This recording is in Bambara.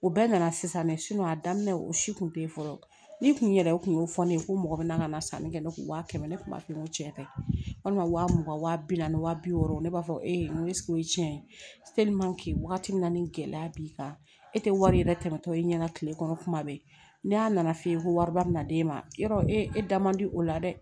U bɛɛ nana sisan mɛ a daminɛ o si kun tɛ ye fɔlɔ ne tun yɛrɛ kun y'o fɔ ne ye ko mɔgɔ bɛ na ka na sanni kɛ ne kun wa kɛmɛ ne kun b'a f'i ye ko tiɲɛ tɛ walima wa mugan waa bi naani wa bi wɔɔrɔ ne b'a fɔ e ko o ye tiɲɛ ye wagati min na ni gɛlɛya b'i kan e tɛ wari yɛrɛ tɛmɛtɔ i ɲɛna kile kɔnɔ kuma bɛɛ ne y'a nana f'e ye ko wariba bɛna d'e ma yɔrɔ e da man di o la dɛ